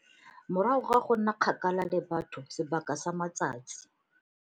Morago ga go nna kgakala le batho sebaka sa matsatsi.